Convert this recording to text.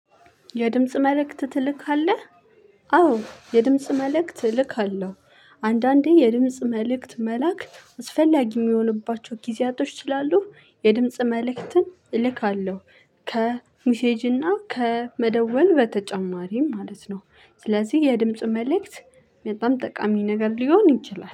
የድምጽ መልእክት ትልካለህ? አዎ የድምጽ መልእክት እልካለሁ። አንዳንዴ የድምጽ መልእክት መላክ አስፈላጊ የሚሆንባቸው ጊዜያቶች ስላሉ የድምጽ መልእክትን እልካለሁ። ከሚሴጅና ከመደወል በተጨማሪም ማለት ነው። ስለዚህ የድምጽ መልእክት በጣም ጠቃሚ ነገር ሊሆን ይችላል።